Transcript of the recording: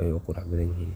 ayey uqurux badhan yihin